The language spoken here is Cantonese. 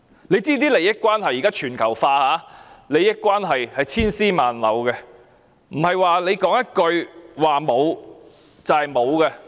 現在利益關係全球化，利益關係千絲萬縷，不是說一句沒有便沒有。